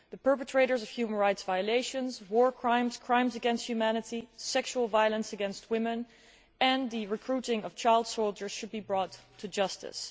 The perpetrators of human rights violations, war crimes, and crimes against humanity, sexual violence against women, and the recruiting of child soldiers should be brought to justice.